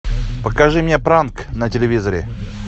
покажи мне пранк на телевизоре